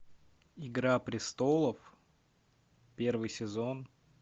игра престолов первый сезон